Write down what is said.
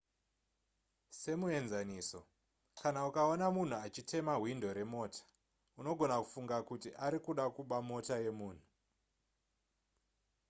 semuenzaniso kana ukaona munhu achitema hwindo remota unogona kufunga kuti ari kuda kuba mota yemunhu